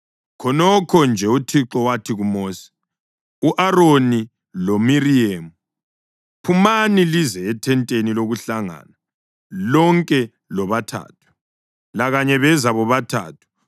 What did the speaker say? Khonokho nje uThixo wathi kuMosi, u-Aroni loMiriyemu, “Phumani lize ethenteni lokuhlangana, lonke lobathathu.” Lakanye beza bobathathu.